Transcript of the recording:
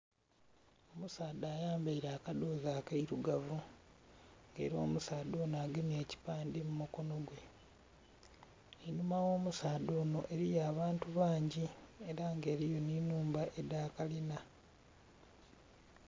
Omusaadha ayambaire akadhozi akeirugavu nga era omusaadha onho agemye ekipandhe mu mukonho gwe einhuma gho musaadha onho eriyo abantu bangi era nga eriyo nhi nhumba edha kalinha.